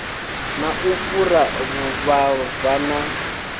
na u fhura vhuvhava na